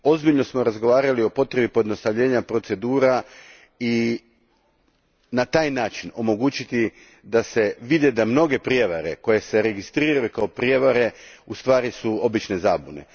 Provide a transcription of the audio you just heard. Ozbiljno smo razgovarali o potrebi pojednostavljenja procedura i na taj način omogućiti da se vidi da su mnoge prijevare koje se registriraju kao prijevare u stvari obične zabune.